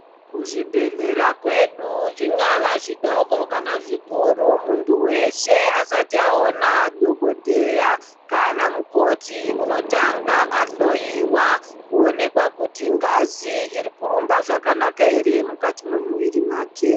Kuzvibhedhlera kwedu zvingava zvidoko kana zvikuru muntu weshe asati aona dhokodheya kana mukoti unotanga ahloiwa kuonekwa kuti ngazi iri kurumba zvakanaka here mumwiri yake.